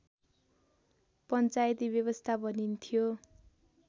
पञ्चायती व्यवस्था भनिन्थ्यो